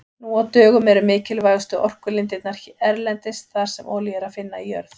Nú á dögum eru mikilvægustu orkulindirnar erlendis þar sem olíu er að finna í jörð.